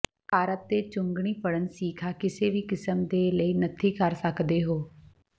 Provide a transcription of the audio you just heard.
carp ਤੇ ਚੁੰਘਣੀ ਫੜਨ ਸੀਖਾ ਕਿਸੇ ਵੀ ਕਿਸਮ ਦੇ ਲਈ ਨੱਥੀ ਕਰ ਸਕਦੇ ਹੋ